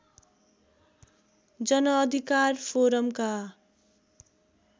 जनअधिकार फोरमका